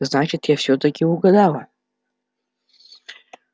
значит я всё-таки угадала